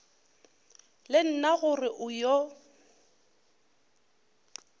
le nna gore o yo